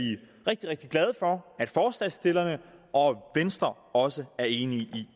rigtig rigtig glade for at forslagsstillerne og venstre også er enige i